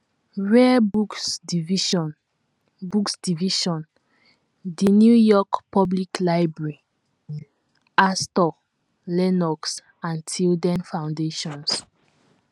Rare Books Division Books Division, The New York Public Library, Astor, Lenox and Tilden Foundations